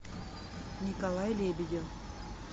николай лебедев